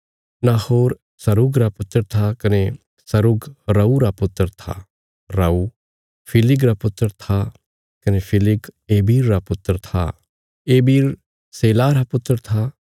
Nahor Serug रा पुत्र था कने सरुग रऊ रा पुत्र था रऊ फिलिग रा पुत्र था कने फिलिग एबिर रा पुत्र था एबिर शेलाह रा पुत्र था